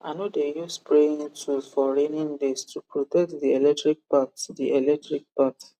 i no dey use spraying tools for raining day to protect the electric part the electric part